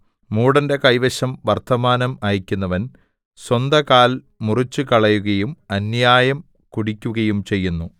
മൂഢന്റെ കൈവശം വർത്തമാനം അയക്കുന്നവൻ സ്വന്തകാൽ മുറിച്ചുകളയുകയും അന്യായം കുടിക്കുകയും ചെയ്യുന്നു